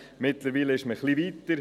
Mittlerweilen ist man etwas weiter.